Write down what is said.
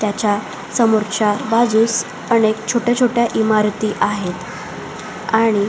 त्याच्या समोरच्या बाजूस अनेक छोट्या छोट्या इमारती आहेत आणि --